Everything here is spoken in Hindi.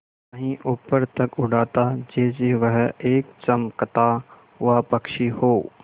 कहीं ऊपर तक उड़ाता जैसे वह एक चमकता हुआ पक्षी हो